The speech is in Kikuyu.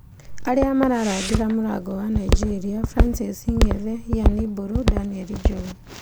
Arĩa mararangĩra mũrango wa Nigeria: Francis Ngethe, Ian mburu, Daniel Njogu